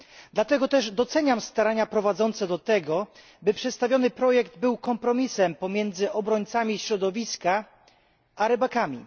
Dlatego też doceniam starania prowadzące do tego, by przedstawiony projekt był kompromisem pomiędzy obrońcami środowiska a rybakami.